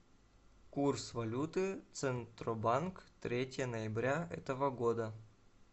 курс валюты центробанк третье ноября этого года